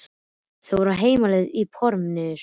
Þau eru á heimleið í Porsinum.